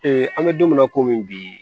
an bɛ don min na komi bi